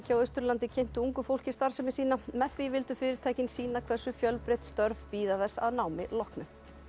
Austurlandi kynntu ungu fólki starfsemi sína með því vildu fyrirtækin sýna hversu fjölbreytt störf bíða þess að námi loknu